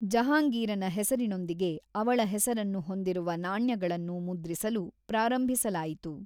ಜಹಾಂಗೀರನ ಹೆಸರಿನೊಂದಿಗೆ ಅವಳ ಹೆಸರನ್ನು ಹೊಂದಿರುವ ನಾಣ್ಯಗಳನ್ನು ಮುದ್ರಿಸಲು ಪ್ರಾರಂಭಿಸಲಾಯಿತು.